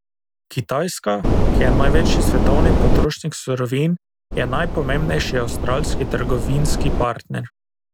Kitajska, ki je največji svetovni potrošnik surovin, je najpomembnejši avstralski trgovinski partner.